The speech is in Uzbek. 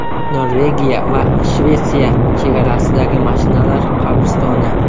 Norvegiya va Shvetsiya chegarasidagi mashinalar qabristoni.